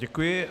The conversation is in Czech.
Děkuji.